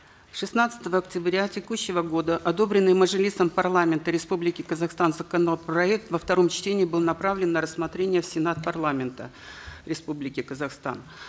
шестнадцатого октября текущего года одобренный мажилисом парламента республики казахстан законопроект во втором чтении был направлен на рассмотрение в сенат парламента республики казахстан